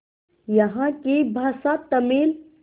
यहाँ की भाषा तमिल